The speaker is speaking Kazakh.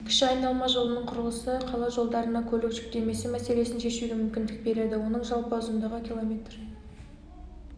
кіші айналма жолының құрылысы қала жолдарына көлік жүктемесі мәселесін шешуге мүмкіндік береді оның жалпы ұзындығы км